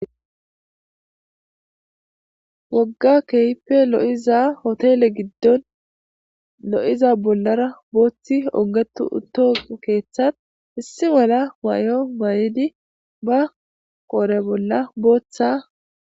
wogga keehippe lo7iza hotele giddon lo7iza bollara booththi ogetu utto keeththat issi mala waayo baayidi ba qoore bolla booththa